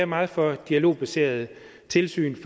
meget for et dialogbaseret tilsyn